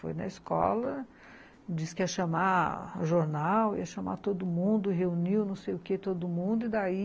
Foi na escola, disse que ia chamar jornal, ia chamar todo mundo, reuniu não sei o quê todo mundo, e daí